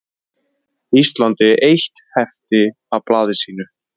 Íslandi eitt hefti af blaði sínu.